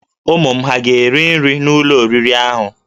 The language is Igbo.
Ụmụ m hà ga-eri nri n'ụlọ oriri ahụ?